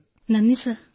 thank you sir